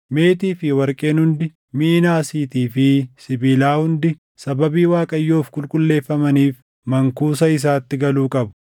Meetii fi warqeen hundi, miʼi naasiitii fi sibiilaa hundi sababii Waaqayyoof qulqulleeffamaniif mankuusa isaatti galuu qabu.”